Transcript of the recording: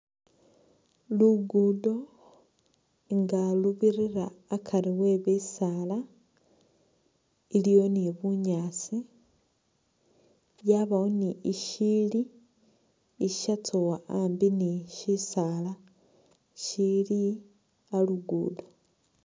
Luguudo nga lubirira akari we bisaala, iliwo ni bunyaasi yabawo ni ishiyili ishatsowa ambi ni bisaala shili a'lugudo.